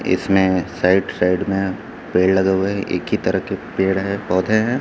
इसमें side side में पेड़ लगे हुए हैं एक ही तरह के पेड़ है पौधे हैं।